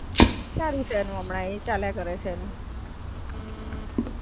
ભરુચ આપડે Diploma થાય ને, Diploma કોલેજ છે, કે જે પોલી-ટેકનીક, એમાં એ job કરે છે, સારું છે એનું હમણાં, એ ચાલ્યા કરે છે એનું.